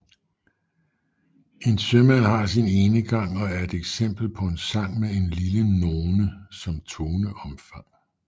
En Sømand har sin Enegang er et eksempel på en sang med en lille none som toneomfang